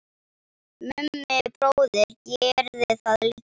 Mummi bróðir gerði það líka.